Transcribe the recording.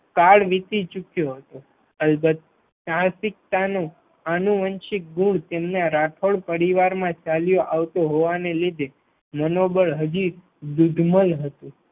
કાળ વિતી ચૂક્યો હતો. સાહસિકતાનો આનુવંશિક ગુણ તેમના રાઠોડ પરિવારમાં ચાલ્યો આવતો હોવાને લીધે મનોબળ હજી દૂધમલ હતો.